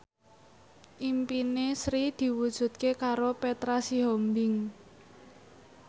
impine Sri diwujudke karo Petra Sihombing